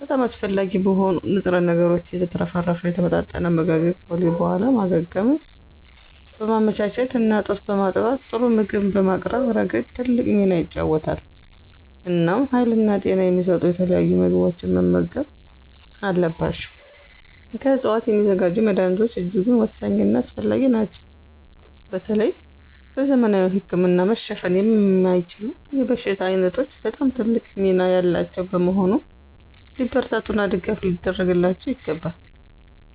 በጣም አስፈላጊ በሆኑ ንጥረ ነገሮች የተትረፈረፈ የተመጣጠነ አመጋገብ ከወሊድ በኋላ ማገገምን በማመቻቸት እና ጡት በማጥባት ጥሩ ምግብ በማቅረብ ረገድ ትልቅ ሚና ይጫወታል። እናም ሀይልና ጤና የሚሰጡ የተለያዩ ምግቦችን መመገብ አለባቸው። ከዕፅዋት የሚዘጋጁ መድኀኒቶች እጅጉን ወሳኝና አስፈላጊ ናቸው በተለይ በዘመናዊ ህክምና መሸፈን የማይችሉ የበሽታ ዓይነቶች በጣም ትልቅ ሚና ያላቸው በመሆኑ ሊበረታቱና ድጋፍ ሊደረግላቸው ይገባል።